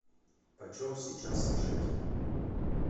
почем сейчас шекель